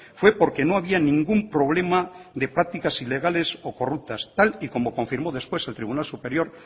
fue porque no había ningún problema de prácticas ilegales o corruptas tal y como confirmó después el tribunal superior